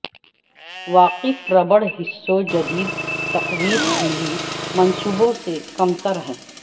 واقف ربڑ حصوں جدید تقویت ملی منصبوں سے کمتر ہیں